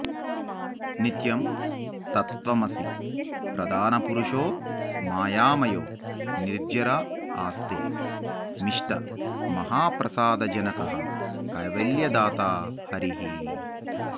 नित्यं तत्त्वमसि प्रधानपुरुषो मायामयो निर्जर आस्ते मिष्टमहाप्रसादजनकः कैवल्यदाता हरिः